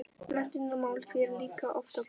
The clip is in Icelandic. Menntunarmál ber líka oft á góma.